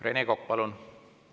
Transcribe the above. Rene Kokk, palun!